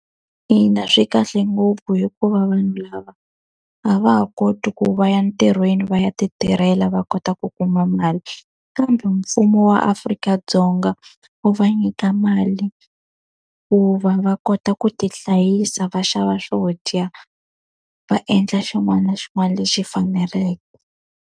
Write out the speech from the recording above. Ina swi kahle ngopfu hikuva vanhu lava a va ha koti ku va ya ntirhweni va ya ti tirhela va kota ku kuma mali, kambe mfumo wa Afrika-Dzonga wu va nyika mali ku va va kota ku ti hlayisa va xava swo dya, va endla xin'wana na xin'wana lexi faneleke.